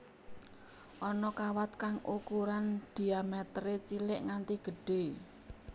Ana kawat kang ukuran dhiaméteré cilik nganti gedhé